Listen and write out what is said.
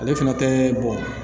Ale fana tɛ bɔn